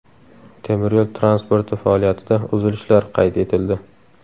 Temiryo‘l transporti faoliyatida uzilishlar qayd etildi.